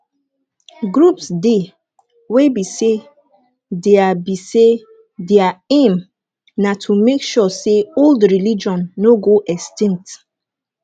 groups dey wey be sey their be sey their aim na to make sure sey old religion no go extinct